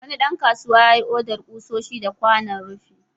Wani ɗan kasuwa yayi odar ƙusoshi da kwanon rufi.